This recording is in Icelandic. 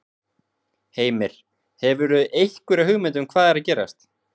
Heimir: Hefurðu einhverja hugmynd um hvað er að gerast?